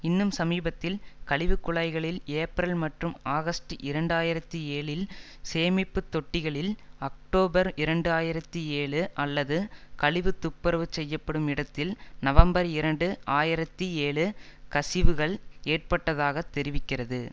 இன்னும் சமீபத்தில் கழிவுக்குழாய்களில் ஏப்ரல் மற்றும் ஆகஸ்ட் இரண்டு ஆயிரத்தி ஏழில் சேமிப்பு தொட்டிகளில் அக்டோபர் இரண்டு ஆயிரத்தி ஏழு அல்லது கழிவு துப்புரவு செய்யப்படும் இடத்தில் நவம்பர் இரண்டு ஆயிரத்தி ஏழு கசிவுகள் ஏற்பட்டதாக தெரிவிக்கிறது